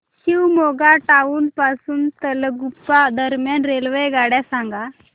Shivamogga town पासून तलगुप्पा दरम्यान रेल्वेगाड्या सांगा